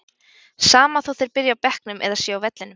Sama þó þeir byrji á bekknum eða séu á vellinum.